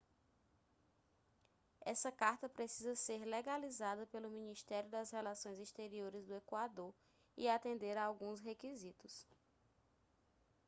essa carta precisa ser legalizada pelo ministério das relações exteriores do equador e atender a alguns requisitos